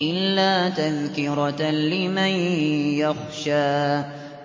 إِلَّا تَذْكِرَةً لِّمَن يَخْشَىٰ